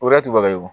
O y'a to baga ye wo